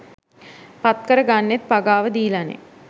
පත්කර ගන්නෙත් පගාව දීලනෙ.